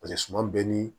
Paseke suma bɛɛ ni